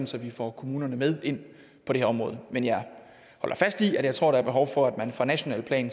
så vi får kommunerne med ind på det her område men jeg holder fast i at jeg tror der er behov for at man på nationalt plan